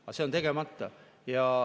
Aga see on tegemata.